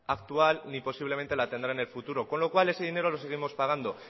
actual ni posiblemente la tendrá en el futuro con lo cual ese dinero lo seguimos pagando